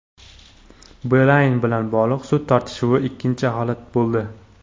Beeline bilan bog‘liq sud tortishuvi ikkinchi holat bo‘ldi.